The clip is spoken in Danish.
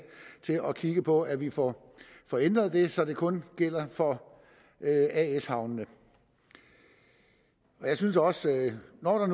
til at kigge på at vi får får ændret det så det kun gælder for as havnene jeg synes også når